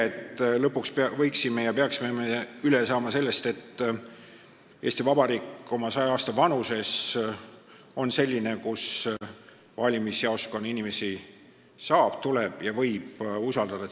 Me võiksime lõpuks aru saada ja peaksime aru saama sellest, et 100-aastane Eesti Vabariik on selline koht, kus valimisjaoskonna inimesi saab, tuleb ja võib usaldada.